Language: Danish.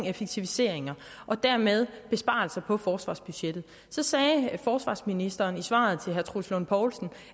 effektiviseringer og dermed besparelser på forsvarsbudgettet så sagde forsvarsministeren i svaret til herre troels lund poulsen